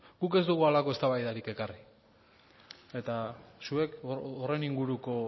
guk ez dugu halako eztabaidari ekarri eta zuek horren inguruko